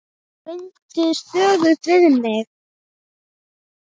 Hann reyndi stöðugt við mig.